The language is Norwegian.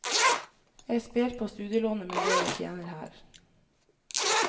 Jeg sper på studielånet med det jeg tjener her.